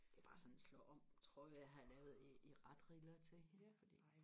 det er bare sådan en slå om trøje jeg har lavet i retriller til hende fordi